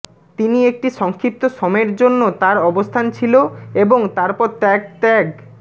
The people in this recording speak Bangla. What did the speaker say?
তিনি একটি সংক্ষিপ্ত সময়ের জন্য তার অবস্থান ছিল এবং তারপর ত্যাগ ত্যাগ